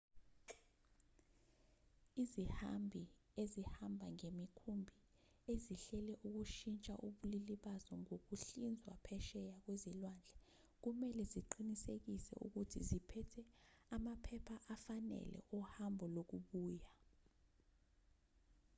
izihambi ezihamba ngemikhumbi ezihlele ukushintsha ubulili bazo ngokuhlinzwa phesheya kwezilwandle kumelwe ziqinisekise ukuthi ziphethe amaphepha afanele ohambo lokubuya